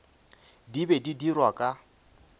di be di dirwa ka